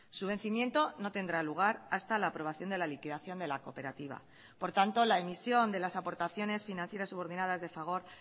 su vencimiento no tendrá lugar hasta la aprobación de la liquidación de la cooperativa por tanto la emisión de las aportaciones financieras subordinadas de fagor